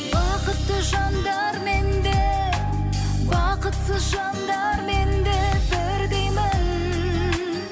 бақытты жандармен де бақытсыз жандармен де бірдеймін